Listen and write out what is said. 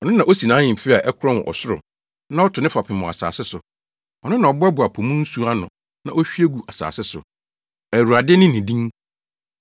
Ɔno na osi nʼahemfi a ɛkorɔn wɔ ɔsoro na ɔto ne fapem wɔ asase so. Ɔno na ɔboaboa po mu nsu ano na ohwie gu asase so. Awurade ne ne din!